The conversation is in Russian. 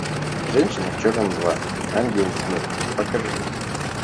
женщина в черном два ангел смерти покажи